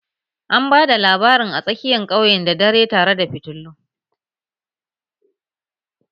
An ba da labarin a tsakiyan ƙauyen da dare tare da fitilu